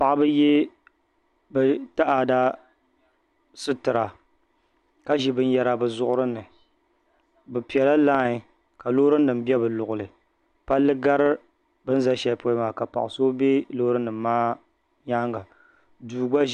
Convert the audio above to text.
Paɣaba ye bɛ taada sitira ka ʒi binyɛra bɛ zuɣuri ni bɛ piɛla lain ka loorinima be bɛ luɣuli palli gari bɛ ni gari shɛli polo maa ka paɣ' so be loorinima maa nyaaŋa